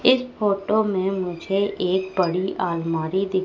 इस फोटो में मुझे एक बड़ी अलमारी दिख--